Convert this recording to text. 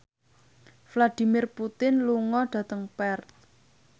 Vladimir Putin lunga dhateng Perth